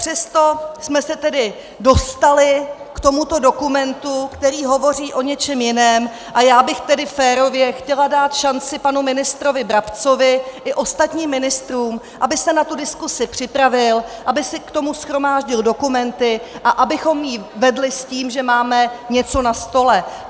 Přesto jsme se tedy dostali k tomuto dokumentu, který hovoří o něčem jiném, a já bych tedy férově chtěla dát šanci panu ministrovi Brabcovi i ostatním ministrům, aby se na tu diskusi připravil, aby si k tomu shromáždil dokumenty a abychom ji vedli s tím, že máme něco na stole.